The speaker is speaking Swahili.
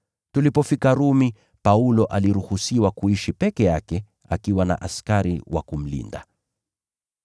Tulipofika Rumi, Paulo aliruhusiwa kuishi peke yake akiwa na askari wa kumlinda.